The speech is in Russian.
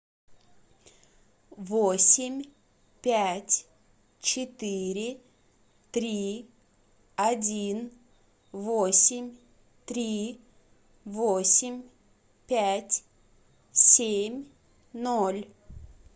восемь пять четыре три один восемь три восемь пять семь ноль